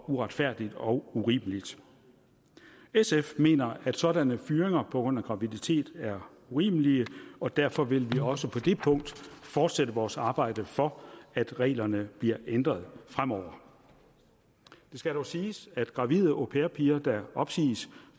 uretfærdigt og urimeligt sf mener at sådanne fyringer på grund af graviditet er urimelige og derfor vil vi også på det punkt fortsætte vores arbejde for at reglerne bliver ændret fremover det skal dog siges at gravide au pair piger der opsiges